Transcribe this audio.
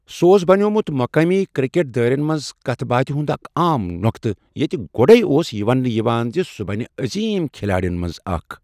سُہ اوس بنٮ۪ومُت مقٲمی کرکٹ دٲیرن منٛز کتھ باتھِ ہُنٛد اکھ عام نۄقطہٕ، ییٚتہِ گوٚڑے اوس یہ ونٛنہٕ یِوان زِ سُہ بنہِ عظیم کِھلاڑٮ۪ن منٛز اکھ۔